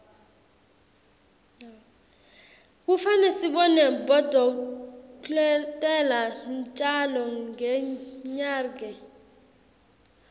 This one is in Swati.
kufane sibone bodolkotela ntjalo ngenyarge